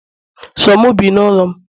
So mu bi n'ulo'm